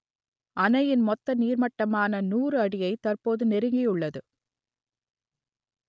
அணையின் மொத்த நீர்மட்டமான நூறு அடியை தற்போது நெருங்கியுள்ளது